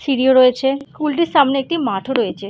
সিঁড়ি ও রয়েছে স্কুল -টির সামনে একটি মাঠও রয়েছে।